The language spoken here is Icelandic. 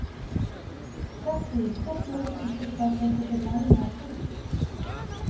Hreggviður skóflu, einhversstaðar fengu þeir lánaðar hjólbörur.